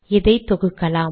இதை தொகுக்கலாம்